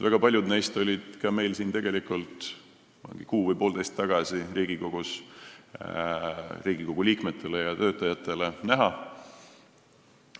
Väga paljud neist olid meil siin Riigikogus kuu või poolteist tagasi Riigikogu liikmetele ja töötajatele näha.